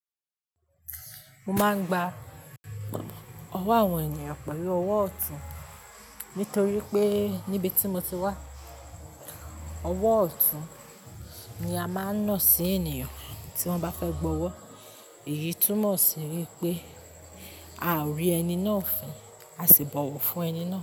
Mo máa ń gba ọwọ́ àwọn ènìyàn pẹ̀lú ọwọ́ ọ̀tún, nítorí pé níbi tí mo ti wá, ọwọ́ ọ̀tún ni a máa ń na sí ènìyàn tí wọ́n bá fẹ́ bọ̀wọ̀. Èyí túmọ̀ sí wípé a ò rí ẹni náà fin, a sì bọ̀wọ̀ fún ẹni náà.